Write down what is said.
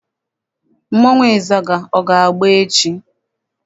Mmọnwụ ịzaga, ọ ga-agba echi?